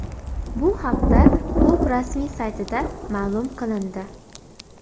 Bu haqda klub rasmiy saytida ma’lum qilindi .